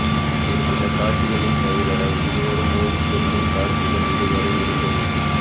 ஒருசில காட்சிகளில் தவிர இருவரும் மோதிக்கொள்ளும் காட்சிகள் இதுவரை இருந்தது இல்லை